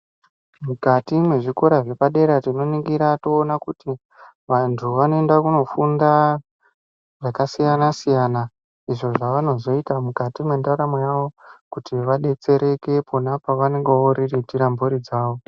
Mukati mezvikora zvepadera tinoningira toona kuti vantu vanoenda kundofunda zvakasiyana siyana uko kwavanaozoita mundaramo yawo kuti vadetsereke Kona kwavanonga voriritira mhuri dzawo.